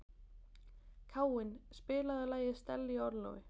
Káinn, spilaðu lagið „Stella í orlofi“.